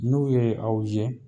N'u ye aw ye